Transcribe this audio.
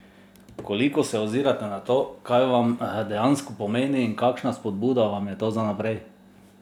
Koliko se ozirate na to, kaj vam dejansko pomeni in kakšna spodbuda vam je to za naprej?